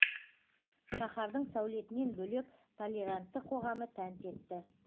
шаһардың сәулетінен бөлек толерантты қоғамы тәнті етті